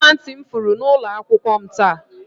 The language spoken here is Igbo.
Ọla ntị m furu n'ụlọ akwụkwọ m taa.